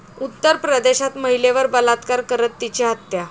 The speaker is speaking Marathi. उत्तर प्रदेशात महिलेवर बलात्कार करत तिची हत्या